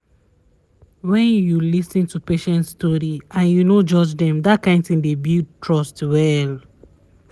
wen you lis ten to patients story and you no judge them that kind thing dey build trust well